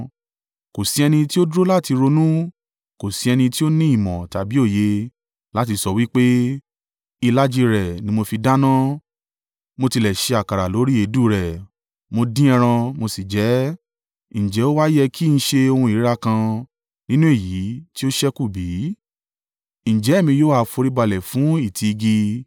Kò sí ẹni tí ó dúró láti ronú, kò sí ẹni tí ó ní ìmọ̀ tàbí òye láti sọ wí pé, “Ìlàjì rẹ̀ ni mo fi dáná; mo tilẹ̀ ṣe àkàrà lórí èédú rẹ̀, mo dín ẹran, mo sì jẹ ẹ́. Ǹjẹ́ ó wá yẹ kí n ṣe ohun ìríra kan nínú èyí tí ó ṣẹ́kù bí? Ǹjẹ́ èmi yóò ha foríbalẹ̀ fún ìtì igi?”